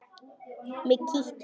Mig kitlar.